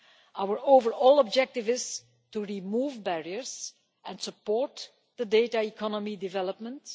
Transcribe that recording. Our overall objective is to remove barriers and support data economy developments.